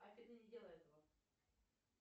афина не делай этого